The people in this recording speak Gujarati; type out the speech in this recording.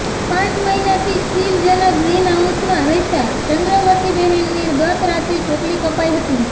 પાંચ મહિનાથી શિલજના ગ્રીન હાઉસનમાં રહેતા ચંદ્રવતીબહેનની ગત રાત્રે ચોટલી કપાઇ હતી